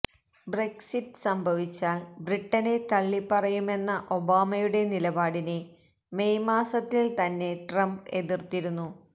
Brexit സംഭവിച്ചാൽ ബ്രിട്ടനെ തള്ളിപ്പറയുമെന്ന ഒബാമയുടെ നിലപാടിനെ മെയ് മാസത്തിൽ തന്നെ ട്രംപ് എതിർത്തിരുന്നു